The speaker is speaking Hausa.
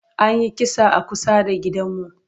An yi kisa a kusa da gidanmu.